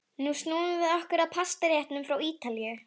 Nú snúum við okkur að pastaréttunum frá Ítalíu.